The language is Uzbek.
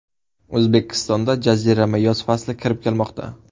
O‘zbekistonga jazirama yoz fasli kirib kelmoqda.